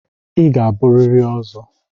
Ị ga-abụrịrị Ozo!